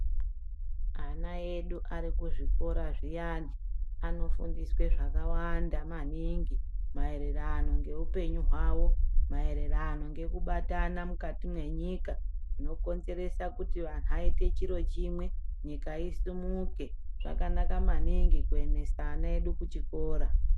Ana edu arikuzvikora zviyani anofundiswe zvakawanda maningi maererano ngeupenyu hwawo, maererano ngekubatana mukati mwenyika. Zvinokonzeresa kuti antu aite chiro chimwe nyika isimuke. Zvakanaka maningi kuendesa ana edu kuchikora.